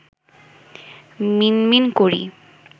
মিনমিন করি